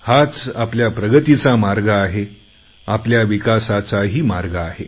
हाच आपल्या प्रगतीचा मार्ग आहे आपल्या विकासाचाही मार्ग आहे